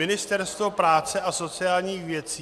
Ministerstvo práce a sociálních věcí...